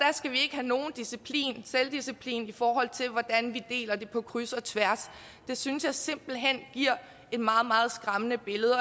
have nogen disciplin selvdisciplin i forhold til hvordan vi deler det på kryds og tværs synes jeg simpelt hen giver et meget meget skræmmende billede og